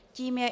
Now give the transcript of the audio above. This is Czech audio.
Tím je